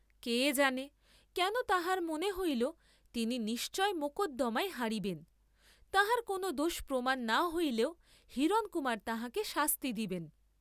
কে জানে কেন তাঁহার মনে হইল তিনি নিশ্চয় মকদ্দমায় হারিবেন, তাঁহার কোন দোষ প্রমাণ না হইলেও হিরণকুমার তাঁহাকে শাস্তি দিবেন।